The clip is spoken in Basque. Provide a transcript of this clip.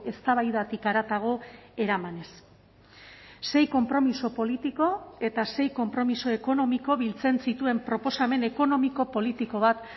eztabaidatik haratago eramanez sei konpromiso politiko eta sei konpromiso ekonomiko biltzen zituen proposamen ekonomiko politiko bat